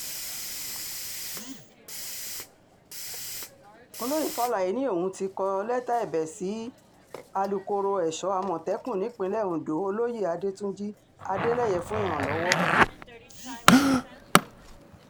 olóyè faláé ni òun ti kọ lẹ́tà ẹ̀bẹ̀ sí alákòóso èso àmọ̀tẹ́kùn nípìnlẹ̀ ọ̀dọ́ olóyè adẹ́túnjì adeleye fún ìrànlọ́wọ́